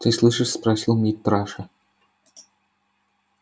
ты слышишь спросил митраша